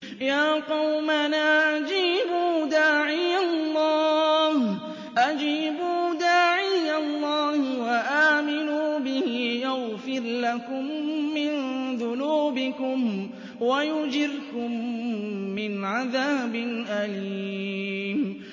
يَا قَوْمَنَا أَجِيبُوا دَاعِيَ اللَّهِ وَآمِنُوا بِهِ يَغْفِرْ لَكُم مِّن ذُنُوبِكُمْ وَيُجِرْكُم مِّنْ عَذَابٍ أَلِيمٍ